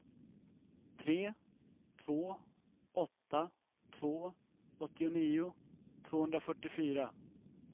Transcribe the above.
tre två åtta två åttionio tvåhundrafyrtiofyra